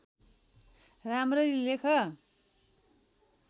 राम्ररी लेख